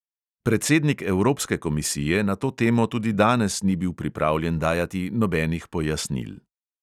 Predsednik evropske komisije na to temo tudi danes ni bil pripravljen dajati nobenih pojasnil.